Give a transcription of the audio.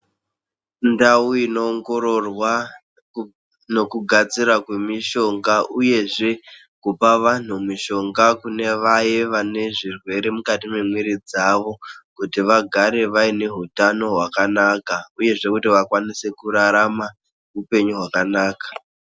Ndau inoongororwa nokugadzira kwemishonga uyezve kupa vanhu mishonga kune vaye vane zvirwere mukati memwiri dzawo kuti vagare vaine hutano hwakanaka uyezve kuti vakwanise kurarama upenyu hwakanaka.